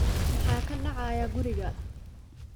Maxaa ka dhacaya guriga?